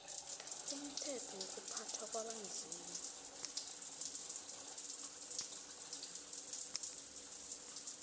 umthetho wokuphathwa kwabanzima